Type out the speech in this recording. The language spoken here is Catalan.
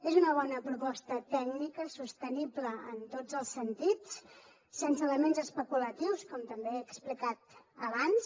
és una bona proposta tècnica sostenible en tots els sentits sense elements especulatius com també he explicat abans